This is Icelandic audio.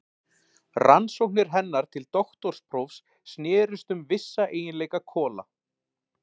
Rannsóknir hennar til doktorsprófs snerust um vissa eiginleika kola.